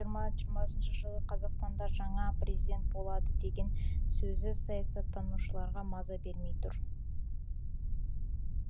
жиырма жиырмасыншы жылы қазақстанда жаңа президент болады деген сөзі саясаттанушыларға маза бермей тұр